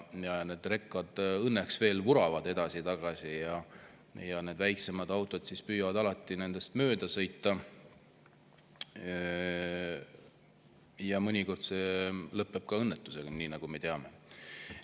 Need rekad õnneks veel vuravad edasi-tagasi ja väiksemad autod püüavad nendest mööda sõita ning mõnikord lõpeb see õnnetusega, nagu me teame.